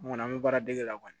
N kɔni an bɛ baaradege la kɔni